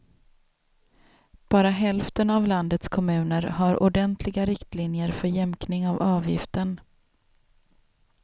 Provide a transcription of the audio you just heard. Bara hälften av landets kommuner har ordentliga riktlinjer för jämkning av avgiften.